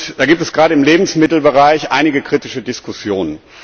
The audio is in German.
Da gibt es gerade im Lebensmittelbereich einige kritische Diskussionen.